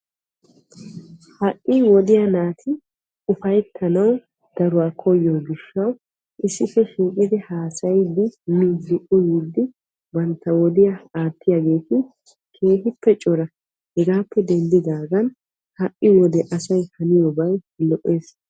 Ha wodiya naati ufayttanawu koyiyo gishawu issippe shiiqiddi haasayiddi miiddi uyiddi bantta wodiya aattiyagetti keehippe yaatiyo gishawu asay haniyobay lo'ees.